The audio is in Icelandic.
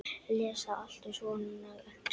Lesa allt um svona æxli?